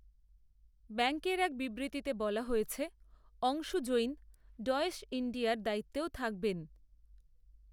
ব্যাঙ্কের এক বিবৃতিতে বলা হয়েছে, অংশু জৈন, ডয়েশ ইণ্ডিয়ার দায়িত্বেও থাকবেন